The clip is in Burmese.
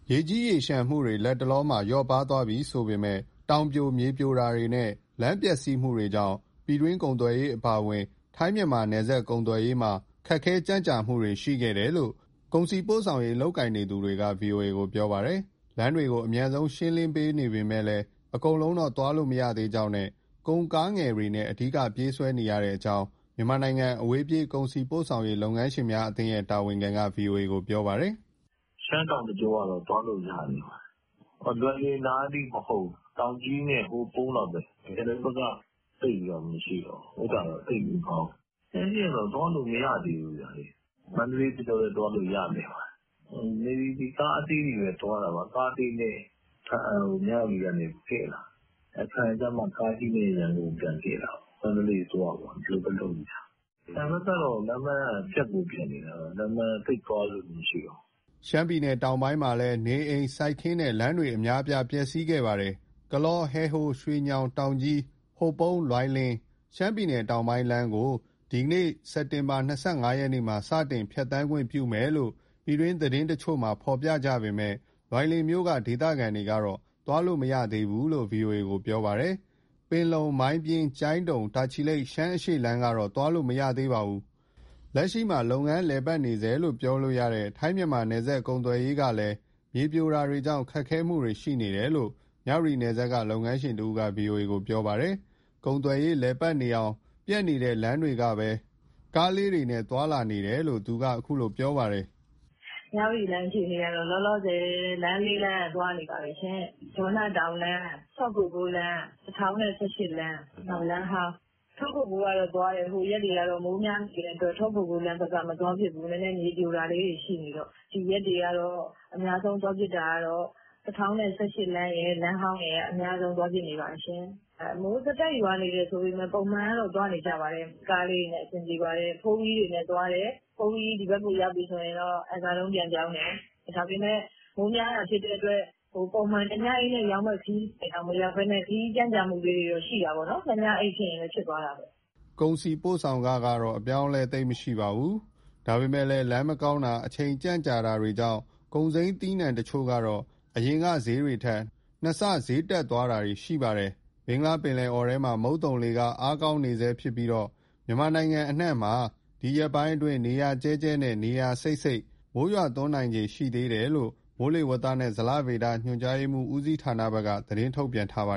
ရေကြီးရေလျှံမှုတွေ လက်တလောမှာ လျော့ပါသွားပြီဆိုပေမဲ့လည်း တောင်ပြို၊ မြေပြိုတာတွေနဲ့ လမ်းပျက်စီးမှုတွေကြောင့် ပြည်တွင်းကုန်သွယ်ရေး အပါအဝင် ထိုင်း-မြန်မာ နယ်စပ်ကုန်သွယ်ရေးမှာ ခက်ခဲကြန့်ကြာမှုတွေ ရှိခဲ့တယ်လို့ ကုန်စည်ပို့ဆောင်ရေး လုပ်ကိုင်နေသူတွေက ဗွီအိုအေကို ပြောပါတယ်။ လမ်းတွေကို အမြန်ဆုံး ရှင်းလင်းနေပေမဲ့ အကုန်လုံးတော့ သွားလို့မရသေးကြောင်း၊ ကုန်ကားငယ်တွေနဲ့ အဓိကပြေးဆွဲနေရကြောင်း မြန်မာနိုင်ငံအဝေးပြေး ကုန်စည်ပို့ဆောင်ရေး လုပ်ငန်းရှင်များအသင်းရဲ့ တာဝန်ခံက ဗွီအိုအေကို ပြောပါတယ်။ " ရှမ်းတောင်တကြောကတော့ သွားလို့ရနေပါတယ်၊ လွိုင်လင်နားအထိ မဟုတ်ဘူး တောင်ကြီးနဲ့ ဟိုပုန်းလောက်ပဲ။ (ရှမ်းတောင်) ကျန်တဲ့ဘက်က သိပ်ပြီးမရှိတော့ဘူး၊ သိပ်မကောင်းဘူး။ ရှမ်းရှေ့ကတော့ သွားလို့မရသေးဘူးဗျ။ မန္တလေးတကြောလည်း သွားလို့ရနေပါတယ်၊ ကားအသေးတွေပဲ သွားတာပါ၊ ကားအသေးနဲ့ ဘားအံ-မြဝတီကနေ ကဲ့တာ။ ဘားအံကြမှ ကားအကြီးနဲ့ ရန်ကုန်ကို ပြန်ကဲ့တာပေါ့၊ မန္တလေးသွားပေါ့ ဒီလိုပဲလုပ်နေကြတာ။ ရခိုင်ကတော့ လမ်းက ပျက်ကိုပျက်နေတာ သိပ်သွားသူ မရှိတော့ဘူး။" ရှမ်းပြည်နယ် တောင်ပိုင်းမှာလည်း နေအိမ်၊ စိုက်ခင်းနဲ့ လမ်းတွေအများအပြား ပျက်စီးခဲ့ပါတယ်။ ကလော-ဟဲဟိုး-ရွှေညောင်-တောင်ကြီး-ဟိုပုန်း-လွိုင်လင် (ရှမ်းပြည်နယ်တောင်ပိုင်း) လမ်းကို ဒီနေ့ စက်တင်ဘာ ၂၅ရက်မှာ စတင်ဖြတ်သန်းခွင့်ပြုမယ်လို့ ပြည်တွင်းသတင်းတချို့မှာ ရေးကြပေမဲ့ လွိုင်လင်မြို့က ဒေသခံတွေကတော့ သွားလို့မရသေးဘူလို့ ဗွီအိုအေကို ပြောပါတယ်။ ပင်လုံ-မိုင်းပြင်း-ကျိုင်းတုံ-တာချီလိတ် ရှမ်းအရှေ့လမ်းကတော့ သွားလို့ မရသေးပါဘူး။ လက်ရှိမှာ လုပ်ငန်းလည်ပတ်နေဆဲလို့ ပြောလို့ရတဲ့ ထိုင်း-မြန်မာ နယ်စပ်ကုန်သွယ်ရေးကလည်း မြေပြိုတာတွေကြောင့် ခက်ခဲမှုတွေရှိနေတယ်လို့ မြဝတီနယ်စပ်က လုပ်ငန်းရှင်တဦးက ဗွီအိုအေကို ပြောပါတယ်။ ကုန်သွယ်ရေး လည်ပတ်နေအောင် ပျက်တဲ့လမ်းတွေကပဲ ကားလေးတွေနဲ့ သွားလာနေတယ်လို့ သူကပြောပါတယ်။ "မြဝတီလမ်း အခြေအနေကတော့ လောလောဆယ် လမ်း၄လမ်းက သွားနေပါတယ်၊ ဒေါနတောင်လမ်း၊ ထော့ကိုကိုးလမ်း၊ ၁၀၁၈လမ်း၊ နောက်လမ်းဟောင်း။ ထော့ကိုကိုးကတော့ သွားတယ် ဟိုရက်တွေကတော့ မိုးများနေတဲ့အတွက် ထော့ကိုကိုးဘက်က မသွားဖြစ်ဘူး၊ နည်းနည်း မြေပြိုတာလေးတွေ ရှိနေတော့။ ဒီရက်တွေကတော့ အများဆုံး သွားဖြစ်တာကတော့ ၁၀၁၈လမ်းရယ် လမ်းဟောင်းရယ်က အများဆုံးသွားဖြစ်နေပါတယ် ရှင့်။ မိုးဆက်တိုက် ရွာနေတယ်ဆိုပေမဲ့ ပုံမှန်ကတော့ သွားနေကြပါတယ်။ ကားလေးတွေနဲ့ အဆင်ပြေပါတယ်၊ 4-wheel တွေနဲ့သွားတယ် 4-wheel ဒီဘက်ကို ရောက်ပြီဆိုရင်တော့ အံစာတုံးပြန်ပြောင်းတယ်။ ဒါပေမဲ့ မိုးများတာဖြစ်တဲ့အတွက် ပုံမှန်တညအိပ်နဲ့ရောက်မဲ့ ခရီးစဉ်က မရောက်ဘဲ ခရီးကြန့်ကြာမှုလေးတွေကတော့ ရှိတာပေါ့။ နှစ်ညအိပ် ဖြစ်ချင်လည်း ဖြစ်သွားတာ။" ကုန်စည်ပို့ဆောင်ခတော့ အပြောင်းအလဲ သိပ်မရှိပါဘူး။ ဒါပေမဲ့ လမ်းမကောင်းတာ၊ အချိန်ကြန့်ကြာတာကြောင့် ကုန်စိမ်းသီးနှံတချို့ကတော့ အရင်ကစျေးတွေထက် နှစ်ဆစျေးတက်သွားတာတွေ ရှိပါတယ်။ ဘင်္ဂလားပင်လယ်အော်ထဲမှာ မုန်သုန်လေက အားကောင်းနေတုန်းဖြစ်ပြီး မြန်မာနိုင်ငံအနှံ့မှာ ဒီရက်ပိုင်းအတွင်း နေရာကျဲကျဲနဲ့ နေရာစိပ်စိပ် မိုးရွာသွန်းနိုင်ခြေ ရှိသေးတယ်လို့ မိုးလေဝသနှင့် ဇလဗေဒညွှန်ကြားမှု ဦးစီးဌာနဘက်က သတင်းထုတ်ပြန်ထားပါ